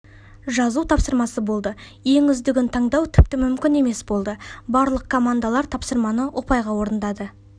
жазу тапсырмасы болды ең үздігін таңдау тіпті мүмкін емес болды барлық командалар тапсырманы ұпайға орындады